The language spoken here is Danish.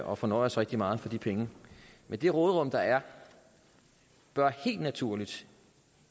og fornøje os rigtig meget for de penge men det råderum der er bør helt naturligt